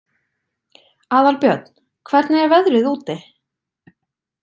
Aðalbjörn, hvernig er veðrið úti?